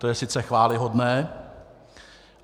To je sice chvályhodné.